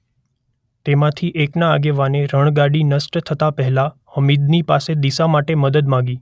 તેમાંથી એકના આગેવાને રણગાડી નષ્ટ થતાં પહેલાં હમીદની પાસે દિશા માટે મદદ માગી.